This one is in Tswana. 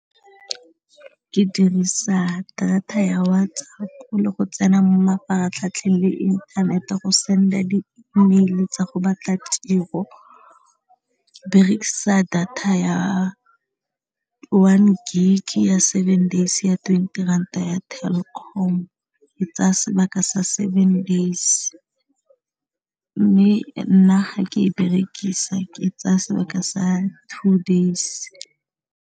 Ke dirisa data ya WhatsApp le go tsena mo mafaratlhatlheng le inthanete go send-a di-email tsa go batla tiro, ke berekisa data ya one gig ya seven days ya twenty ranta ya Telkom e tsaya sebaka sa seven days mme nna ga ke e berekisa ke tsaya sebaka sa two days.